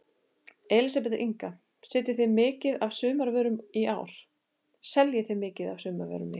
Elísabet Inga: Seljið þið mikið af sumarvörum í ár?